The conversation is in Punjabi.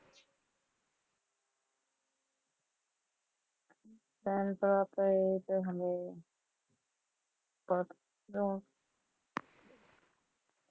ਭੈਣ ਭਰਾ ਤਾਂ ਇਹ ਤਾਂ ਹੋਣੇ, ਸਤ.